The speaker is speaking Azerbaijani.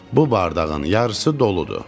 Bu bardağın yarısı doludur.